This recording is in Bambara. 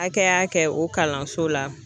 Hakɛya kɛ o kalanso la